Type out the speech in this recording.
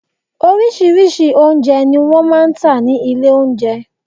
Oríṣirí́ṣi oúnjẹ ni wọ́n máa ń tà ní ilé oúnjẹ